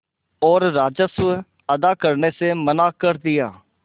और राजस्व अदा करने से मना कर दिया